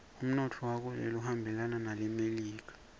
umnotfo wakuleli uhambelana newelemelika